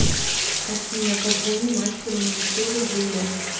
афина позвони мастеру маникюра юле